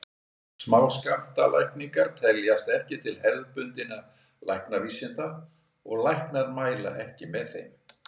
Smáskammtalækningar teljast ekki til hefðbundinna læknavísinda og læknar mæla ekki með þeim.